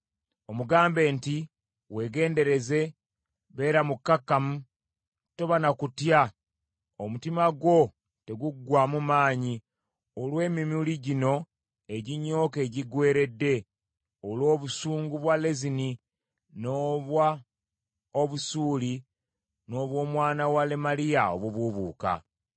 omugambe nti, ‘Weegendereze, beera mukkakkamu toba na kutya omutima gwo teguggwaamu maanyi olw’emimuli gino eginyooka egiggweeredde, olw’obusungu bwa Lezini, n’obwa Obusuuli n’obw’omwana wa Lemaliya obubuubuuka.’